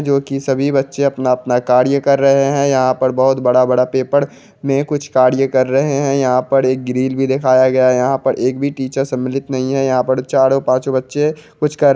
जो की सभी बच्चे अपना-अपना कार्य कर रहे हैं यहाँ पर बहुत बड़ा-बड़ा पेपर में कुछ कार्य कर रहे हैं यहाँ पर एक ग्रिल भी दिखाई गया है यहाँ पर एक भी टीचर सम्मिलित नहीं है यहाँ पर चारों पांच बच्चे कुछ कर --